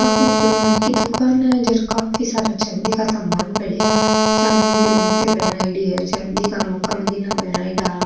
या कोई सुनार की दुकान है जठे काफी सारा चाँदी का सामान पड़ा है चाँदी की मूर्तिया बनायेड़ी है चाँदी का मक्का मदीना बनायेड़ा है।